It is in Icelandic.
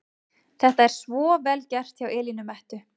Þetta er svo VEL GERT hjá Elínu Mettu!